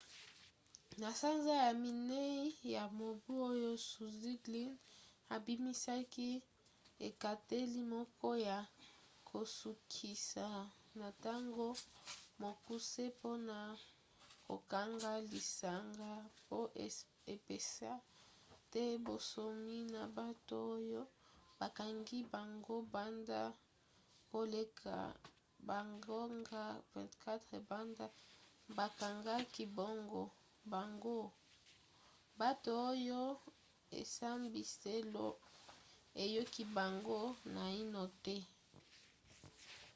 na sanza ya minei ya mobu oyo zuzi glynn abimisaki ekateli moko ya kosukisa na ntango mokuse mpona kokanga lisanga po epesa te bonsomi na bato oyo bakangi bango banda koleka bangonga 24 banda bakangaki bango bato oyo esambiselo eyoki bango naino te